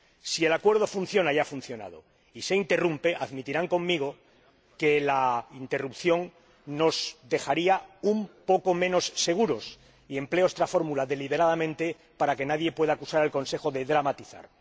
Si el Acuerdo funciona y ha funcionado y se interrumpe, admitirán conmigo que la interrupción nos dejaría un poco menos seguros —y empleo esta fórmula deliberadamente para que nadie pueda acusar al Consejo de dramatizar.